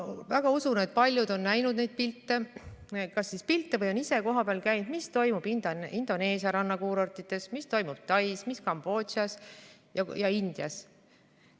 Ma usun, et paljud on näinud neid pilte või on ise kohapeal käinud ja näinud, mis toimub Indoneesia rannakuurortides, mis toimub Tais, Kambodžas või Indias.